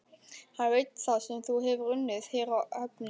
Hann veit það sem hefur unnið hér á höfninni.